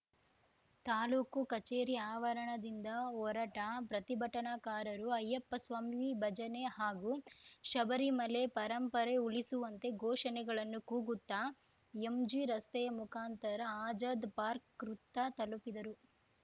ತಾಲೂಕು ಕಚೇರಿ ಆವರಣದಿಂದ ಹೊರಟ ಪ್ರತಿಭಟನಾಕಾರರು ಅಯ್ಯಪ್ಪಸ್ವಾಮಿ ಭಜನೆ ಹಾಗೂ ಶಬರಿಮಲೆ ಪರಂಪರೆ ಉಳಿಸುವಂತೆ ಘೋಷಣೆಗಳನ್ನು ಕೂಗುತ್ತಾ ಎಂಜಿರಸ್ತೆಯ ಮುಖಾಂತರ ಅಜಾದ್‌ ಪಾರ್ಕ್ ವೃತ್ತ ತಲುಪಿದರು